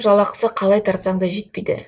жалақысы қалай тартсаң да жетпейді